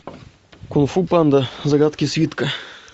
кунг фу панда загадки свитка